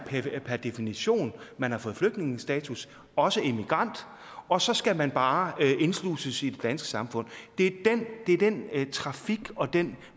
per definition man har fået flygtningestatus også immigrant og så skal man bare indsluses i det danske samfund det er den trafik og den